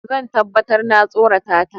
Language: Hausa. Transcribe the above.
Zan tabbatar na tsorata ta.